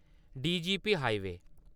DGP highway